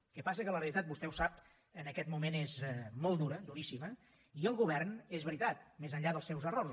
el que passa és que la realitat vostè ho sap en aquest moment és molt dura duríssima i el govern és veritat més enllà dels seus errors